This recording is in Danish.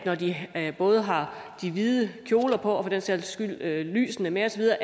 når de både har de hvide kjoler på og for den sags skyld lysene med